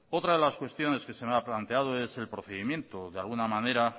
otra de las cuestiones que se me ha planteado es el procedimiento de alguna manera